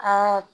Ɛɛ